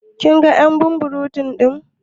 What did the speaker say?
Kin gan y'an burum burum din?: